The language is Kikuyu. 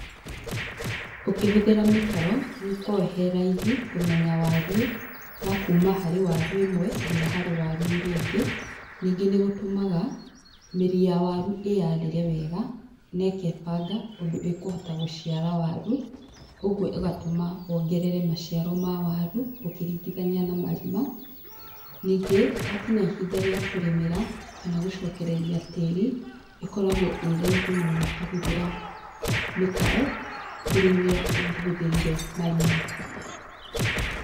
Ũkĩhũthĩra mĩtaro, nĩũkoragwo heraithi kũmenya wariĩ, wa kuma harĩ waru ĩmwe nginya waru ĩrĩa ĩngĩ ningĩ nĩgũtũmaga mĩri ya waru ĩarĩre wega, nekebanga ũndũ ĩkũhota gũciara waru, ũguo ĩgatũma wongerere maciaro ma waru, ũkĩringithania na marima, ningĩ wakinya ihinda rĩa kũrĩmira kana gũcokereria tĩri, ĩkoragwo ĩraithi mũno ũkĩhũthĩra, mĩtaro kũrĩ ũrĩa ũngĩhuthĩrire marima.